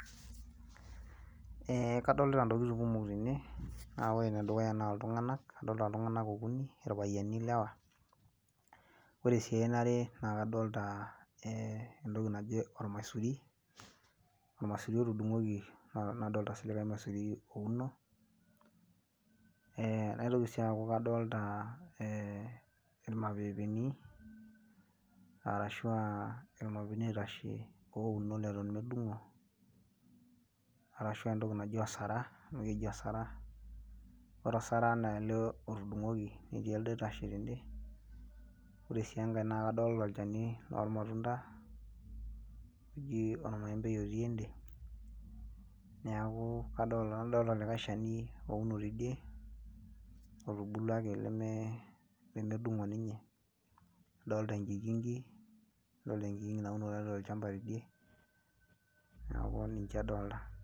Eh kadolita intokiting kumok tene, na ore enedukuya naa iltung'anak, adolta iltung'anak okuni, irpayiani lewa. Ore si eniare, na kadolta entoki naji ormaisuri, ormaisuri otudung'oki ormaisuri ouno. Eh naitoki si aku kadolta irmapepeni, arashua irmapepeni oitashe ouno leton medung'o, arashu entoki naji osara, amu keji osara, ore osara naa ele otudung'oki etii elde oitasheki tede. Ore si enkae nakadolta olchani lormatunda, oji ormaembei otii ende, neeku nadolta likae shani ouno tidie, otubulua ake leme dung'o ninye, adolta enkikinki, adolta enkikinki nauno tiatua olchamba tidie, neeku nejia adolta.